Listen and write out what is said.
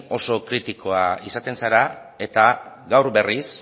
osoko kritikoa izaten zara eta